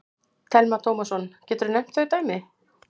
Telma Tómasson: Geturðu nefnt þau dæmi?